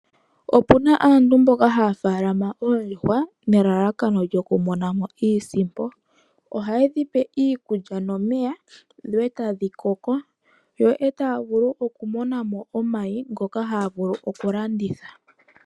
Opuna aantu mboka haya faalama oondjuhwa nelalakano lyoku mona mo iisimpo ohayedhi pe iikulya nomeya etadhi koko yo taya vulu okumona mo omayi ngoka haya vulu okulanditha .